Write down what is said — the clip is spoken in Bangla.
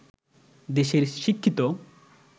দেশের শিক্ষিত